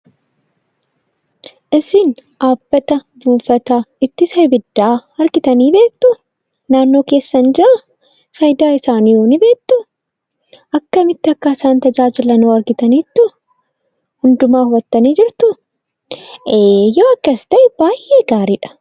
Isin dhaabbata buufata abiddaa argitanii beektuu ? Naannoo keessan jiraa? Faayidaan isaahoo ni beektuu? Akkamitti akka isaan tajaajilan hoo argitaniittuu? Hundumaa hubattanii jirtuu? Eeyyee yoo akkas ta'e baay'ee gaariidha!